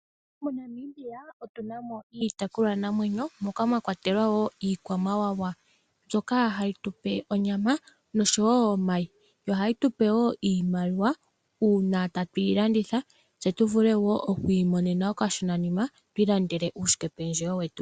MoNamibia otuna mo iitekulwa namwenyo moka mwakwatelwa wo ikwamawawa. Mbyoka hayi tupe onyama noshowo omayi. Yo ohayi tupe wo iimaliwa una tatu yi landitha tse tu vule wo okwi imonena okashona nima twi ilandele wo uushike pendjewo wete.